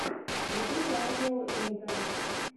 ютуб радио интенс